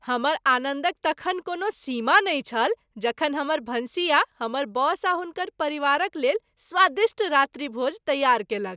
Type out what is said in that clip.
हमर आनन्दक तखन कोनो सीमा नहि छल जखन हमर भनसिया हमर बॉस आ हुनकर परिवारक लेल स्वादिष्ट रात्रिभोज तैयार केलक।